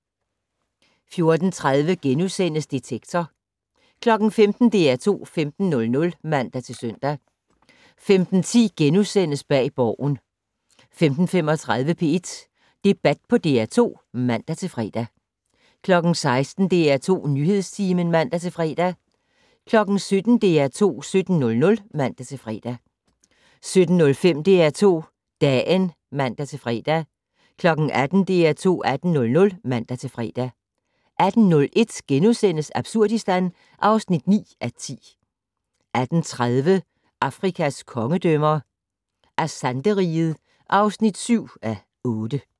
14:30: Detektor * 15:00: DR2 15:00 (man-søn) 15:10: Bag Borgen * 15:35: P1 Debat på DR2 (man-fre) 16:00: DR2 Nyhedstimen (man-fre) 17:00: DR2 17:00 (man-fre) 17:05: DR2 Dagen (man-fre) 18:00: DR2 18:00 (man-fre) 18:01: Absurdistan (9:10)* 18:30: Afrikas kongedømmer - Asante-riget (7:8)